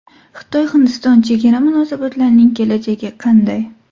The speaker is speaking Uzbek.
Xitoy-Hindiston chegara munosabatlarining kelajagi qanday?